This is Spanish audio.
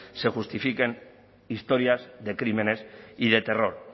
se justifiquen historias de crímenes y de terror